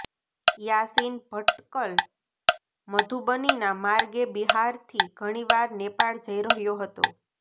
યાસીન ભટકલ મધુબનીના માર્ગે બિહારથી ઘણીવાર નેપાળ જઇ રહ્યો હતો